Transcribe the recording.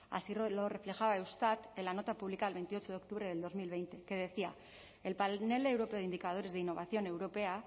así lo refleja eustat en la nota publicada el veintiocho de octubre del dos mil veinte que decía el panel europeo de indicadores de innovación europea